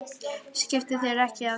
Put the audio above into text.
Skiptu þér ekki af því.